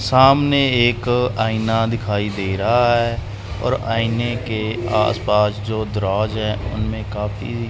सामने एक आईना दिखाई दे रहा है और आईने के आसपास जो दराज है उनमें काफी--